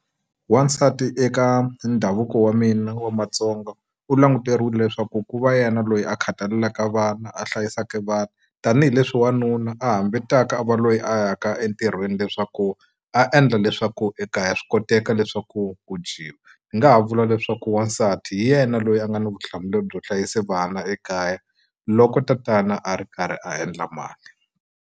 Wansati eka ndhavuko wa mina wa Matsonga u languteriwile leswaku ku va yena loyi a khathalelaka vana a hlayisaka vana tanihileswi wanuna a hambitaka a va loyi a ya ka entirhweni leswaku a endla leswaku ekaya swi koteka leswaku ku dyiwa ni nga ha vula leswaku wansati hi yena loyi a nga na vutihlamuleri byo hlayisa vana ekaya loko tatana a ri karhi a endla mali.